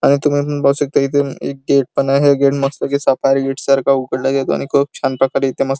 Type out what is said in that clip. आणि इथून बस एकत गेट पण आहे गेट मस्त गेट मस्त पैकी सफरी गेट सारख उघडल गेल आणि खूप छान प्रकारे इथे मस्त --